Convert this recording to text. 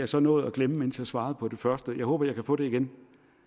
så nåede at glemme mens jeg svarede på det første jeg håber jeg kan få det igen